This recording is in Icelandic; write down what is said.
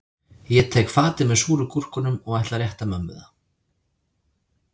Ég tek fatið með súru gúrkunum og ætla að rétta mömmu það